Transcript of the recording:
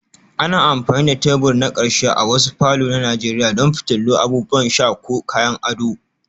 Ana amfani da tebur na ƙarshe a wasu falor na nigeria don fitilu, abubuwan sha ko kayan ado